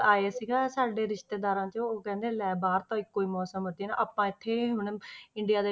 ਆਏ ਸੀਗੇ ਸਾਡੇ ਰਿਸ਼ਤੇਦਾਰਾਂ ਚੋਂ ਉਹ ਕਹਿੰਦੇ ਲੈ ਬਾਹਰ ਤਾਂ ਇਕੋ ਹੀ ਮੌਸਮ ਆ ਤੇ ਨਾ ਆਪਾਂ ਇੱਥੇ ਮਤਲਬ ਇੰਡੀਆ